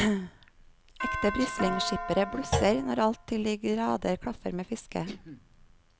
Ekte brislingskippere blusser når alt til de grader klaffer med fisket.